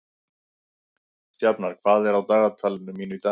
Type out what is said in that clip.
Sjafnar, hvað er á dagatalinu mínu í dag?